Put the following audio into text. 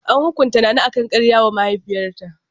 An hukunta Nana akan karya wa mahaifiyarta.